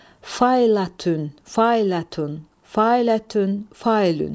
Failatun, Failatun, Failatun, Failun.